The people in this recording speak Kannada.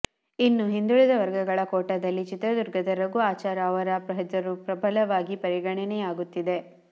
ಇನ್ನು ಹಿಂದುಳಿದ ವರ್ಗಗಳ ಕೋಟಾದಲ್ಲಿ ಚಿತ್ರದುರ್ಗದ ರಘು ಆಚಾರ್ ಅವರ ಹೆಸರು ಪ್ರಬಲವಾಗಿ ಪರಿಗಣನೆಯಾಗುತ್ತಿದೆ